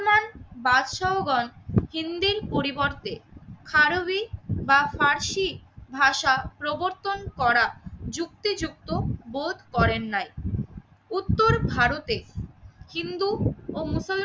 বাদশাও গণ হিন্দীর পরিবর্তে খারবি বা ফারসি ভাষা প্রবর্তন করা যুক্তিযুক্ত বোধ করেন নাই। উত্তর ভারতে হিন্দু ও মুসল